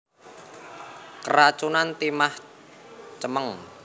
Keracunan timah cemeng